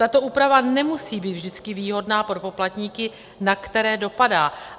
Tato úprava nemusí být vždycky výhodná pro poplatníky, na které dopadá.